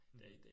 Mh